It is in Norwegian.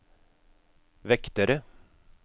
vektere